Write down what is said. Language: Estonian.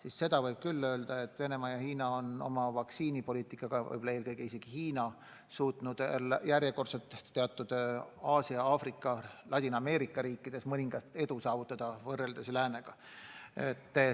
Aga seda võib küll öelda, et Venemaa ja Hiina, eelkõige just Hiina on oma vaktsiinipoliitikaga suutnud järjekordselt teatud Aasia, Aafrika ja Ladina-Ameerika riikides mõningast edu saavutada võrreldes läänega.